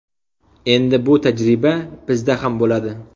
Endi bu tajriba bizda ham bo‘ladi.